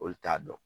Olu t'a dɔn